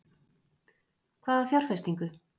Hvaða fjárfestingu?